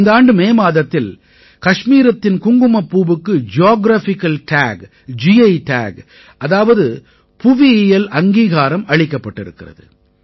இந்த ஆண்டு மே மாதத்தில் கஷ்மீரத்தின் குங்குமப்பூவுக்கு ஜியோகிராபிக்கல் டாக் கி டாக் அதாவது புவியியல் அங்கீகாரம் அளிக்கப்பட்டிருக்கிறது